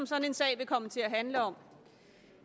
sådan en sag vil komme til at handle om